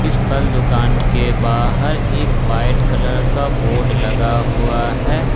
फल दुकान के बाहर एक व्हाइट कलर का बोर्ड लगा हुआ है ।